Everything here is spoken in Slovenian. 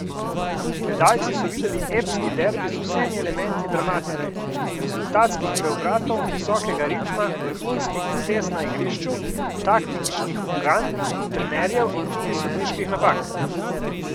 Gledalci so videli epski derbi z vsemi elementi dramatike, rezultatskih preobratov, visokega ritma, vrhunskih potez na igrišču, taktičnih ukan trenerjev in tudi sodniških napak.